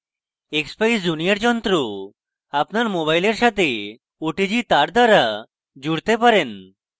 expeyes junior যন্ত্র আপনার mobile সাথে otg তার দ্বারা জুড়তে পারেন